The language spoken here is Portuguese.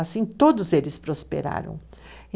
Assim, todos eles prosperaram.